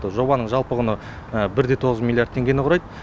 жобаның жалпы құны бір де тоғыз миллиард теңгені құрайды